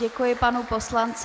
Děkuji panu poslanci.